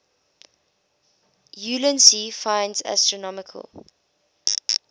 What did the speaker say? ulansey finds astronomical